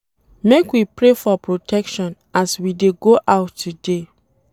Make we pray for protection as we dey go out today.